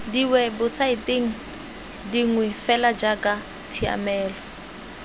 diwebosaeteng dingwe fela jaaka tshiamelo